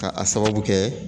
Ka a sababu kɛ